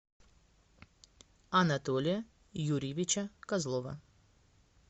анатолия юрьевича козлова